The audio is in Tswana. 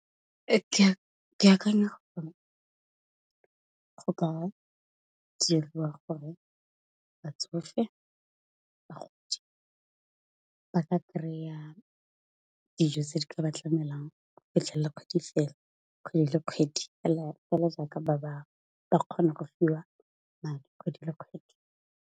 Ke akanya gore go ka diriwa gore bagodi ba ka kry-a dijo tse di ka ba tlamelang go fitlhelele kgwedi fela kgwedi le kgwedi, fela ja ka ba bangwe ba kgona go fiwa madi kgwedi le kgwedi.